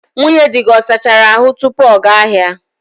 Nwunye di gị ọ sachara ahu tupu ọ gaa ahịa?